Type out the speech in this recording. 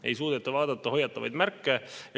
Ei suudeta vaadata hoiatavaid märke.